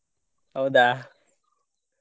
ಹೌದಾ?